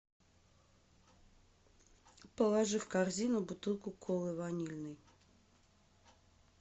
положи в корзину бутылку колы ванильной